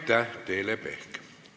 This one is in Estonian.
Aitäh, Teele Pehk!